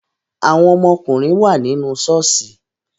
Àwọn ọmọ ọkùnrin wà nínú ṣọ́ọ̀ṣì